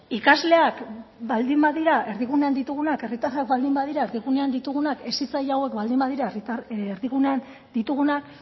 ikasleak baldin badira erdigunean ditugunak herritarrak baldin badira erdigunean ditugunak hezitzaile hauek badira erdigunean ditugunak